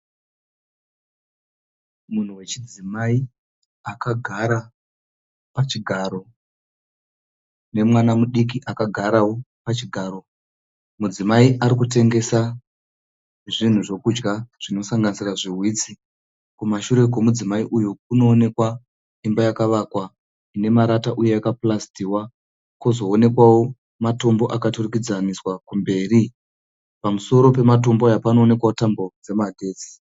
Munhu wechidzimai akagara pachigaro. Nemwana mudiki akagarawo pachigaro. Mudzimai arikutengesa zvinhu zvokudya zvinosanganisira zviwitsi. Kumashure kwe mudzimai uyu kunoonekwa imba yakavakwa ine marata uye yakapurasitiwa. Kozoonekwawo matombo akaturikidzaniswa kumberi. Pamusoro pematombo aya panoonekwa tambo dzemagetsi